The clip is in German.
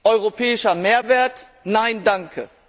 Europäischer Mehrwert nein, danke!